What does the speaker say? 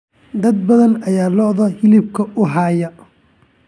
Dad badan ayaa lo'da hilibka u hayaa.